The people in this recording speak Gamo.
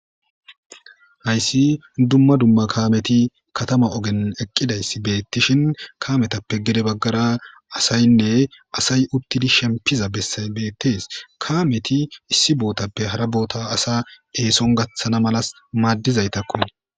Hayssi dumma dumma kaamethi kathama ogen eqqidayssi beeththishin kaamethappe gede baggara asaynne asay uththidi shemppiza bessay beeththees; kaamethi issi boothappe hara bootha asa eeson gaththana malas maaddizaythakko.